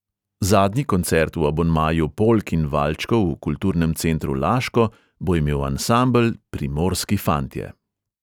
Zadnji koncert v abonmaju polk in valčkov v kulturnem centru laško bo imel ansambel primorski fantje.